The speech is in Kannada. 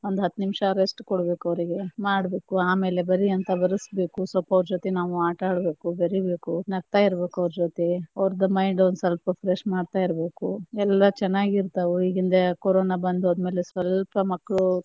ಒಂದ ಹತ್ತ ನಿಮಿಷ rest ಕೊಡ್ಬೇಕ್ ಅವ್ರಿಗೆ ಮಾಡ್ಬೇಕು , ಆಮೇಲೆ ಬರಿಯಂತ ಬರಿಸ್ಬೇಕು ಸ್ವಲ್ಪ ಅವ್ರ ಜೊತೆ ನಾವು ಆಟಾಡಬೇಕು, ಬೆರಿಬೆಕು ನಗತಾ ಇರಬೇಕು ಅವ್ರ ಜೊತೆ, ಅವ್ರದ mind ಒಂದ ಸ್ವಲ್ಪ fresh ಮಾಡ್ತಾ ಇರಬೇಕು ಎಲ್ಲಾ ಚನ್ನಾಗ್ ಇರ್ತಾವ. ಈಗಿನ ಕೊರೋನಾ ಬಂದ ಹೋದಮೇಲೆ ಸ್ವಲ್ಪ ಮಕ್ಕಳು.